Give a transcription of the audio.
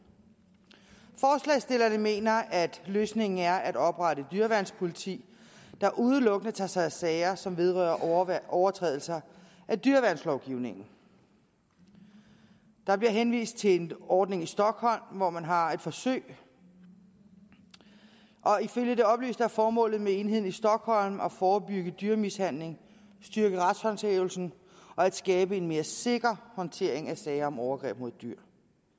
forslagsstillerne mener at løsningen er at oprette et dyreværnspoliti der udelukkende tager sig af sager som vedrører overtrædelser af dyreværnslovgivningen der bliver henvist til en ordning i stockholm hvor man har et forsøg og ifølge det oplyste er formålet med enheden i stockholm at forebygge dyremishandling styrke retshåndhævelsen og at skabe en mere sikker håndtering af sager om overgreb mod dyr